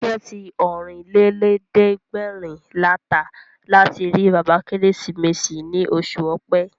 Tíkẹ̀ẹ̀tì Ọ̀rìnlélẹ̀ẹ́dẹ́gbèrin la tà láti rí bàbá Kérésìmesì ní oṣù Ọ̀pẹ